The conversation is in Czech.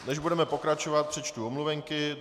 Než budeme pokračovat, přečtu omluvenky.